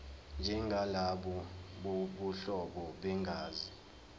njengalabo bobuhlobo begazi